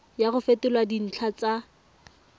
ya go fetola dintlha tsa